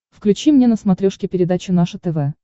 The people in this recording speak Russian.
включи мне на смотрешке передачу наше тв